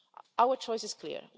Our choice is clear.